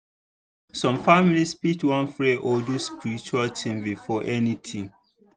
some families fit wan pray or do spiritual things before anything.